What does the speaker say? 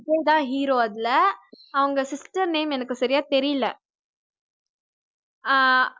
விஜய் தான் hero அதுல அவங்க sister name எனக்கு சரியா தெரியல? ஆஹ்